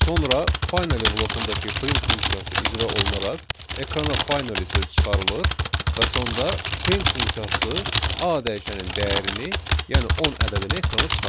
Sonra finally blokundakı print funksiyası icra olunaraq ekrana finally söz çıxarılır və sonda print funksiyası A dəyişəninin dəyərini, yəni 10 ədədini ekrana çıxardır.